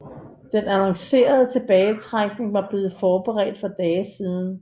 Den annoncerede tilbagetrækning var blevet forberedt for dage siden